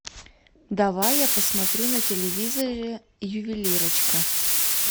давай я посмотрю на телевизоре ювелирочка